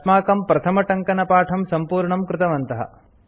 अस्माकं प्रथमटङ्कनपाठं सम्पूर्णं कृतवन्तः